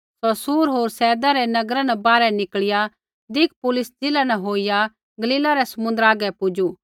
सौ सूर होर सैदा रै नगरा न बाहरै निकल़िया दिकपुलिस ज़िला न होईया गलीला रै समुन्द्रा हागै पुजू